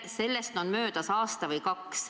Sellest on minu meelest aasta-kaks juba möödas.